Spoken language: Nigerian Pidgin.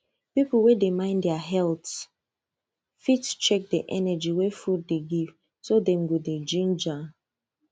people wey dey mind their health fit check the energy wey food dey give so dem go dey ginger